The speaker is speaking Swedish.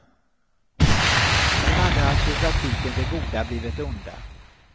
Nu hade alltså i praktiken det goda blivit det onda.